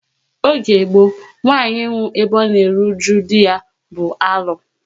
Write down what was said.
Oge gboo, nwanyị ịnwụ ebe ọ na eru uju dị ya bụ alu